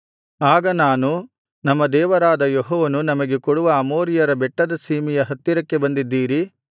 ಆಗ ನಾನು ನಮ್ಮ ದೇವರಾದ ಯೆಹೋವನು ನಮಗೆ ಕೊಡುವ ಅಮೋರಿಯರ ಬೆಟ್ಟದ ಸೀಮೆಯ ಹತ್ತಿರಕ್ಕೆ ಬಂದಿದ್ದೀರಿ